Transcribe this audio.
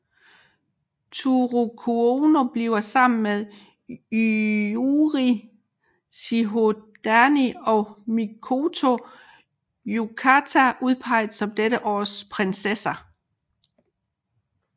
Toru Kouno bliver sammen med Yujiro Shihodani og Mikoto Yutaka udpeget som dette års prinsesser